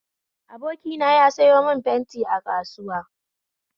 Abokina ya sayo mun fenti a kasuwa